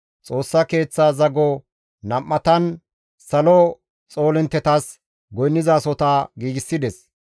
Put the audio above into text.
Xoossa Keeththa zago nam7atan salo xoolinttetas goynnanasohota giigsides.